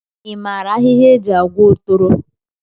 I maara ahịhịa e ji agwọ otoro?